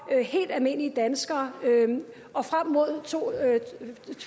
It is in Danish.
helt almindelige danskere og frem mod to tusind og